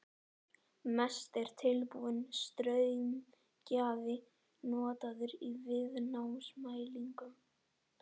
Mest er tilbúinn straumgjafi notaður í viðnámsmælingum.